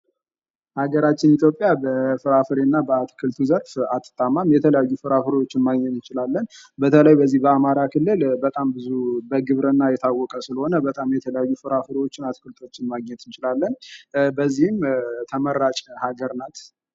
ሀገራችን ኢትዮጵያ በአትክልቱ እና በፍራፍሬው ዘርፍ አትታማም የተለያዩ ፍራፍሬወችን ማግኘት እንጭላለን። በተለይ በዚህ በአማራ ክልል በጣም ብዙ በግብርና የታወቀ ስለሆነ በጣም የትለያዩ ፍራፍሬወችን አትክልቶችን ማግኘት እንችላለን።